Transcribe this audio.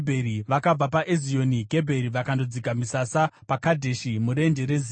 Vakabva paEzioni Gebheri vakandodzika misasa paKadheshi, murenje reZini.